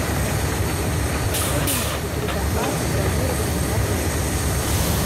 особенности предоплаты бронирования в отеле